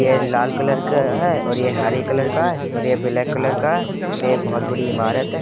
ये लाल कलर का है और ये हरे कलर का है और ये ब्लैक कलर का है और ये एक बोहोत बड़ी इमारत है।